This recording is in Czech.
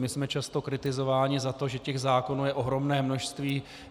My jsme často kritizováni za to, že těch zákonů je ohromné množství.